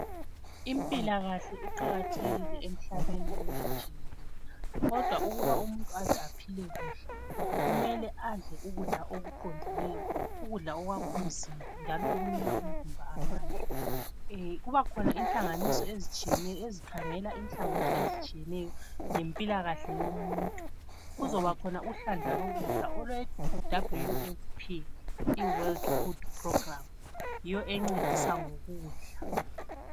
Impilakahle iqakathekile emhlabeni wonke jikelele kodwa ukuba umuntu aze aphile kuhle adle ukudla okuqondileyo ukudla ukwakha umzimba njalo okunika umzimba amandla. Kuba khona inhlanganiso ezitshiyeneyo ezikhangela inhlangothi ezitshiyeneyo ngempilakahle yomuntu. Kuzobakhona uhlandla lokudla olwe WFP i world food program yiyo encedisa ngokudla.